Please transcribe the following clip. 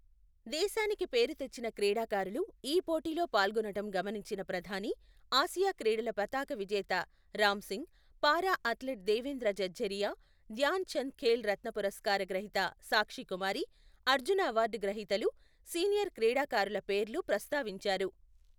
దేశానికి పేరు తెచ్చిన క్రీడాకారులు ఈ పోటీలో పాల్గొనటం గమనించిన ప్రధాని, ఆసియా క్రీడల పతాక విజేత రామ్ సింగ్, పారా అథ్లెట్ దేవేంద్ర జఝారియా, ధ్యాన చంద్ ఖేల్ రత్న పురస్కార గ్రహీత సాక్షి కుమారి, అర్జున అవార్డు గ్రహీతలు, సీనియర్ క్రీడాకారుల పేర్లు ప్రస్తావించారు.